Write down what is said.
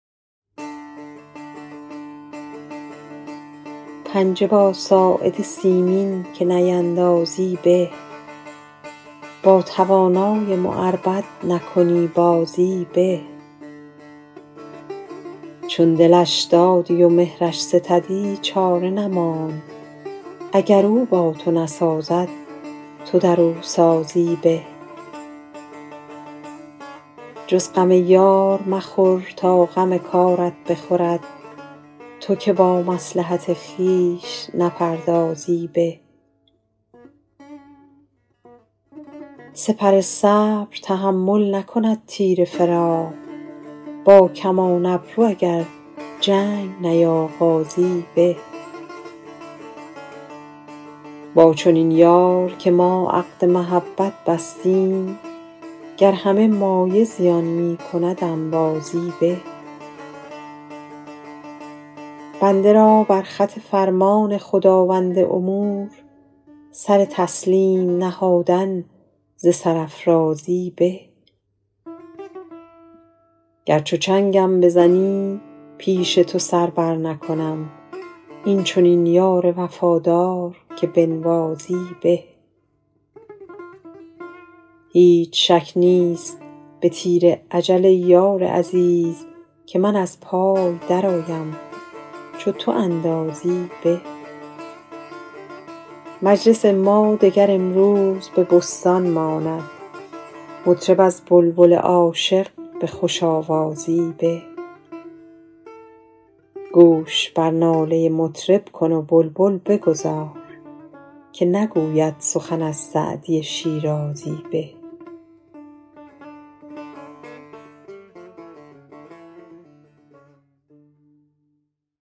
پنجه با ساعد سیمین که نیندازی به با توانای معربد نکنی بازی به چون دلش دادی و مهرش ستدی چاره نماند اگر او با تو نسازد تو در او سازی به جز غم یار مخور تا غم کارت بخورد تو که با مصلحت خویش نپردازی به سپر صبر تحمل نکند تیر فراق با کمان ابرو اگر جنگ نیاغازی به با چنین یار که ما عقد محبت بستیم گر همه مایه زیان می کند انبازی به بنده را بر خط فرمان خداوند امور سر تسلیم نهادن ز سرافرازی به گر چو چنگم بزنی پیش تو سر برنکنم این چنین یار وفادار که بنوازی به هیچ شک نیست به تیر اجل ای یار عزیز که من از پای درآیم چو تو اندازی به مجلس ما دگر امروز به بستان ماند مطرب از بلبل عاشق به خوش آوازی به گوش بر ناله مطرب کن و بلبل بگذار که نگوید سخن از سعدی شیرازی به